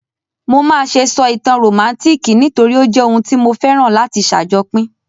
Mo máà se sọ ìtàn rómántikì nítorí o jẹ oun tí mo féràn láti sàjopín